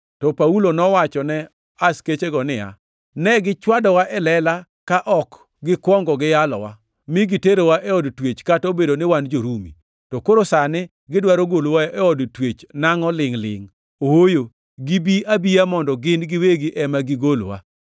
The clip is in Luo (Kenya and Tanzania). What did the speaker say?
To Paulo nowachone askechego niya, “Ne gichwadowa e lela ka ok gikwongo giyalowa, mi giterowa e od twech kata obedo ni wan jo-Rumi. To koro sani gidwaro golowa e od twech nangʼo lingʼ-lingʼ? Ooyo, gibi abiya mondo gin giwegi ema gigolwa.”